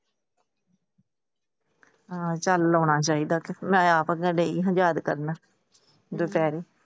ਆ ਚੱਲ ਲਾਉਣਾ ਚਾਹੀਦਾ ਮੈਂ ਯਾਦ ਕਰਨਾ ਦੋਪਹਰੇ ।